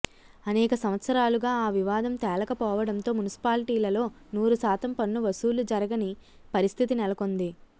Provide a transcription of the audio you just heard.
అనేక సంవత్సరాలుగా ఆ వివాదం తేలకపోవడంతో మున్సిపాల్టీలలో నూరుశాతం పన్ను వసూళ్లు జరగని పరిస్థితి నెలకొంది